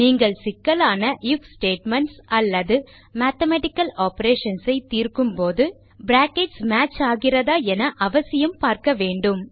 நீங்கள் சிக்கலான if statements அல்லது மேத்தமேட்டிக்கல் ஆப்பரேஷன்ஸ் ஐ தீர்க்கும் போது பிராக்கெட்ஸ் மேட்ச் ஆகிறதா என அவசியம் பார்க்க வேண்டும்